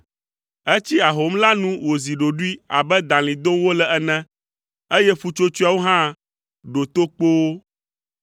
Etsi ahom la nu wòzi ɖoɖoe abe dalĩ dom wole ene, eye ƒutsotsoeawo hã ɖo to kpoo.